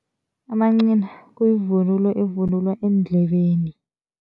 Amancina kuyivunulo evunulwa eendlebeni.